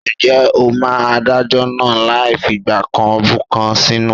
Ǹjẹ́ ó ma Adájọ́ náà láì figbá kan bọ̀kan nínú?